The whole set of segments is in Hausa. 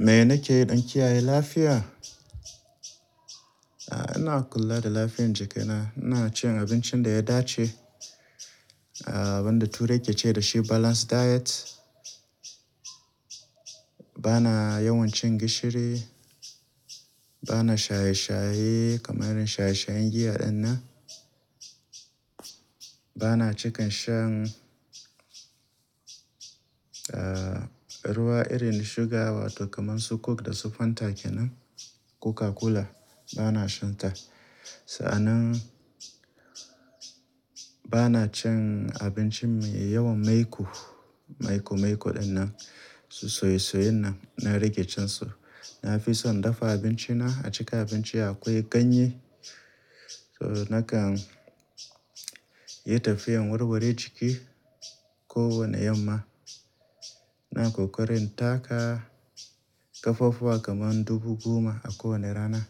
Me nake yi don kiyaye lafiya? A'a ina kula da lafiyan jikana, ina cin abincin da ya dace, ah abun da turai ke ce dashi balance diet. Bana yawan cin gishiri, bana shaye-shaye kamar shaye-shayen giya ɗinnan. Bana cikan shan ah ruwa irin sugar wato kaman su coke da su fanta kenan, coca-cola bana shan ta. Sa'annan bana cin abinci mai yawan maiƙo, maiƙo-maiƙo ɗinnan, su soye-soyayn nan, na rage cin su. Na fi son dafa abinci na, a ciki abinci akwai ganye, so nakan yi tafiyan warware jiki ko wane yamma. Ina ƙoƙari in taka ƙafafuwa kamar dubu goma a kowane rana.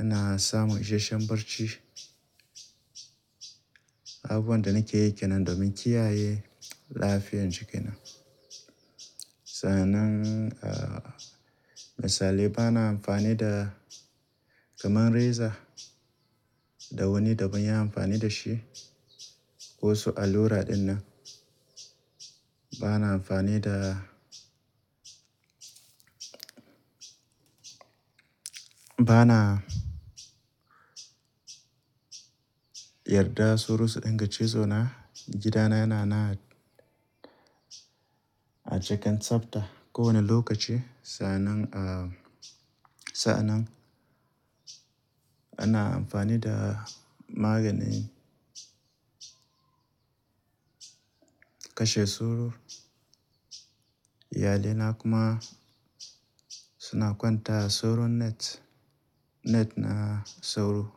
Ina samun isashen barci. Abu buwan da nake yi kenan domin kiyaye lafiyan jiki na. Sa'annan ah misalai bana amfani da kamar reza da wani da ban ya yi amfani da shi, ko su allura din nan. Bana amfani da, bana yarda sauro su danga cizo na, gidana yana na a cikin tsafta kowane lokaci. Sa'annan ah sa'annan ana amfani da maganin kashe sauro, iyalai na kuma suna kwanta a sauro net, net na sauro.